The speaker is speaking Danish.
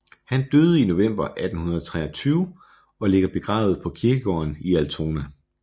Han døde i november 1823 og ligger begravet på kirkegården i Altona